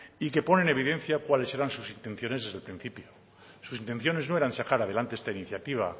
y que pone en evidencia cuáles eran sus intenciones desde el principio sus intenciones no eran sacar adelante esta iniciativa